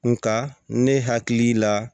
Nga ne hakili la